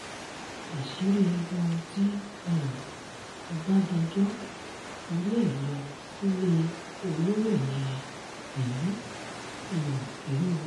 àṣírí ohun tí um ọbadànjọ́ torí ẹ̀ lọ sílé olómìnira benin um rèé